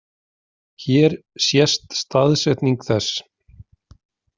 Hér sést staðsetning þess.